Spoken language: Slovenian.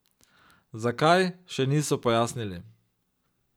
Zakaj, še niso pojasnili.